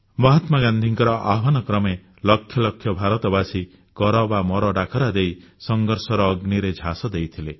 ମହାତ୍ମାଗାନ୍ଧୀଙ୍କ ଆହ୍ୱାନ କ୍ରମେ ଲକ୍ଷ ଲକ୍ଷ ଭାରତବାସୀ କର ବା ମର ଡାକରା ଦେଇ ସଂଘର୍ଷର ଅଗ୍ନିରେ ଝାସ ଦେଇଥିଲେ